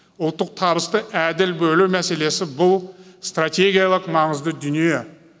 ұлттық табысты әділ бөлу мәселесі бұл стратегиялық маңызды дүние